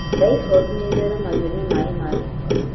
Taifodi nĩ ĩtheremagio nĩ maĩ ma gĩko